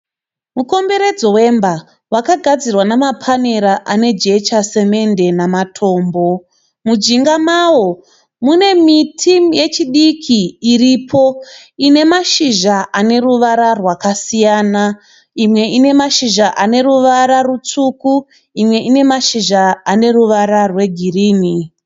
Mukomberedzo wemba wakagadzirwa namapanera ane jecha, semende namatombo. Mujinga mawo mune miti yechidiki iripo. Ine mashizha ane ruvara rwakasiyana. Imwe ine mashizha ane ruvara rutsvuku imwe ine mashizha ane ruvara rwe girinhi.